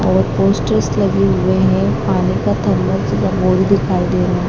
और पोस्टर्स लगे हुए है खाने का दिखाई दे रहा है।